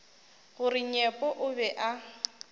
gore nyepo o be a